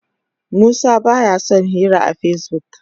Musa ba ya son yin hira a Facebook.